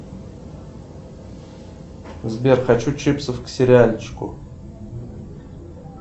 сбер хочу чипсов к сериальчику